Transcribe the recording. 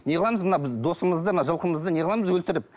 не қыламыз мына біз досымызды мына жылқымызды не қыламыз өлтіріп